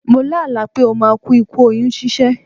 Mo lá àlá pé ó máa ku ikú oyún ṣíṣẹ́.